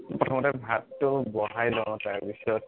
প্ৰথমতে ভাতটো বঢ়াই লও তাৰ পিছত